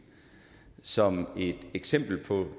som et eksempel på